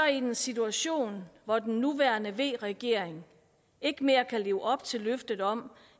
en situation hvor den nuværende v regering ikke mere kan leve op til løftet om